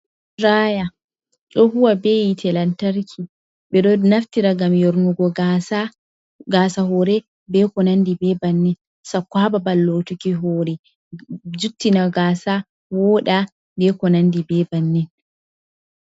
Ɗiraya ɗo huwa bei telantarki. Beɗo naftira ngam nyarnugo gasa hore be ko nandi be bannin. Sakko ha babal lotuki hore. Nuttina gas woɗa be konanɗi be bannin.